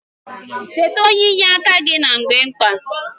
Cheta onye inye aka gị na mgbe mkpa